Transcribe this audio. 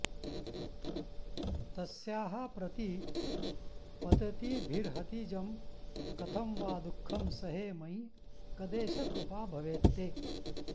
तस्याः प्रतीपततिभिर्हतिजं कथं वा दुःखं सहे मयि कदेश कृपा भवेत्ते